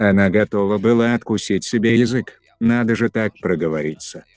она готова была откусить себе язык надо же так проговориться